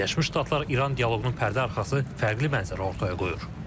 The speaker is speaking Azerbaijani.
Birləşmiş Ştatlar-İran dialoqunun pərdəarxası fərqli mənzərə ortaya qoyur.